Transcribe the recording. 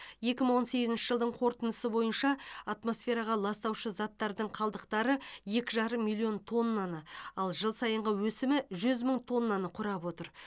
екі мың он сегізінші жылдың қорытындысы бойынша атмосфераға ластаушы заттардың қалдықтары екі жарым миллион тоннаны ал жыл сайынғы өсімі жүз мың тоннаны құрап отыр